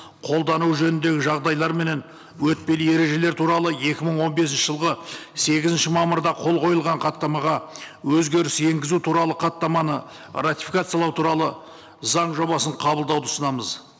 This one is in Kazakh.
қолдану жөніндегі жағдайлар менен өтпелі ережелер туралы екі мың он бесінші жылғы сегізінші мамырда қол қойылған хаттамаға өзгеріс енгізу туралы хаттаманы ратификациялау туралы заң жобасын қабылдауды ұсынамыз